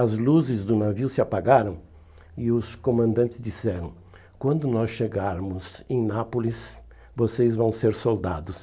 As luzes do navio se apagaram e os comandantes disseram, quando nós chegarmos em Nápoles, vocês vão ser soldados.